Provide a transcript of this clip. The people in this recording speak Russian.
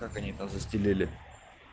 как они там застелили